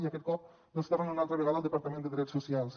i aquest cop tornen una altra vegada al departament de drets socials